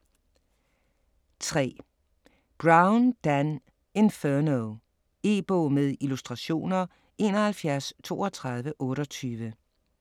3. Brown, Dan: Inferno E-bog med illustrationer 713228